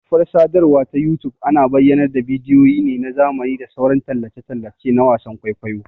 Ƙafar sadarwa ta youtube ana bayyanar da bidiyo ne na zamani da sauran tallace-tallace na wasan ƘwaiƘwaiyo